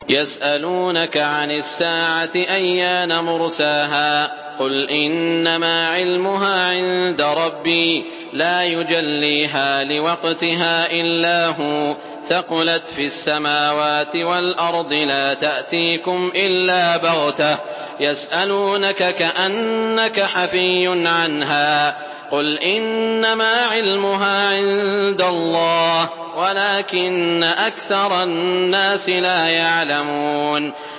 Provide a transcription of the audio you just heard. يَسْأَلُونَكَ عَنِ السَّاعَةِ أَيَّانَ مُرْسَاهَا ۖ قُلْ إِنَّمَا عِلْمُهَا عِندَ رَبِّي ۖ لَا يُجَلِّيهَا لِوَقْتِهَا إِلَّا هُوَ ۚ ثَقُلَتْ فِي السَّمَاوَاتِ وَالْأَرْضِ ۚ لَا تَأْتِيكُمْ إِلَّا بَغْتَةً ۗ يَسْأَلُونَكَ كَأَنَّكَ حَفِيٌّ عَنْهَا ۖ قُلْ إِنَّمَا عِلْمُهَا عِندَ اللَّهِ وَلَٰكِنَّ أَكْثَرَ النَّاسِ لَا يَعْلَمُونَ